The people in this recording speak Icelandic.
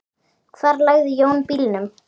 Hvar lagði Jón bílnum?